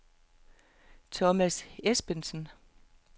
Thomas Esbensen